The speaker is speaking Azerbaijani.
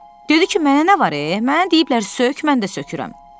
Dedi ki, mənə nə var, mənə deyiblər sök, mən də sökürəm.